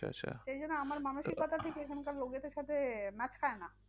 সেই জন্য আমার মানসিকতা টা ঠিক এখানকার লোকজনের সাথে match খায় না।